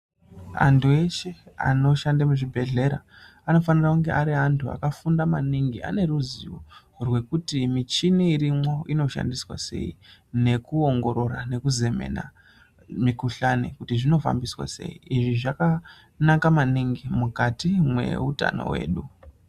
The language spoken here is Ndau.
Antu eshe anoshande muzvibhehlera anofanire kunge ari antu akafunda maningi aine ruzivo rwekuti michina irimo inoshandiswa sei, nekuongorora, nekuzemena mikuhlani kuti zvinofambiswa sei. lzvi zvakanaka maningi mukati mweutano hwedu.